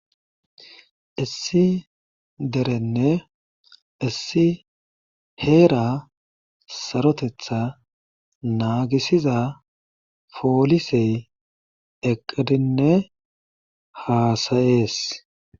Issi dereni issi heera sarotetha naagisiza poolise eqqidinne haasayees.